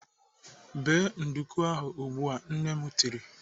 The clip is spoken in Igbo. "Bee nduku ahụ ugbu a!" Nne m tiri.